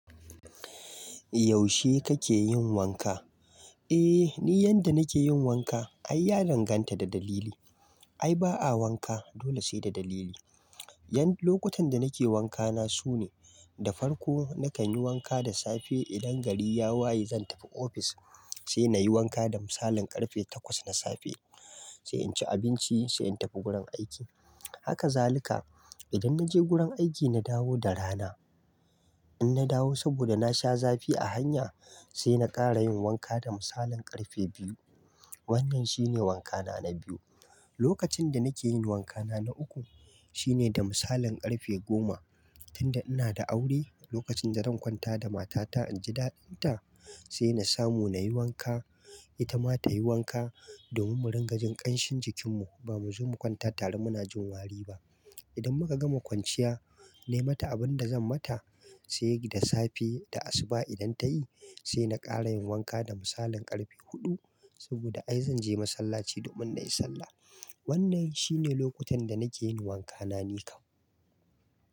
Yaushe kake yin wanka? Eh, ni yadda nake yin wanka ai ya danganta da dalili. Ai ba a wanka dole sai da dalili. Ƴan-- lokutan da nake wanka na su ne, da farko nakan yi wanka da safe idan gari ya waye zan tafi ofis sai na yi wanka da misalin ƙarfe takwas na safe sai in ci abinci sai in tafi gurin aiki. Haka zalika idan na je gurin aiki na dawo da rana, in na dawo saboda na sha zafi a hanya sai na ƙara yin wanka da misalin ƙarfe biyu. Wannan shine wanka na na biyu. Lokacin da nake yin wanka na na uku shine da misalin karfe goma. Tunda ina da aure lokacin da zan kwanta da matata in ji daɗinta sai na samu na yi wanka ita ma ta yi wanka domin mu ringa jin ƙanshin jikinmu ba mu zo mu kwanta tare muna jin wari ba. Idan muka gama kwanciya, nai mata abin da zan mata sai da safe, da asuba idan ta yi sai na ƙara yin wanka da misalin karfe huɗu saboda ai zan je masallaci domin na yi sallah. Wannan shi ne lokutan da nake yin wanka na nikam.